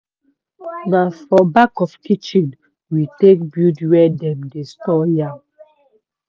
na for back of kitchen we take build where dem take dey store yam.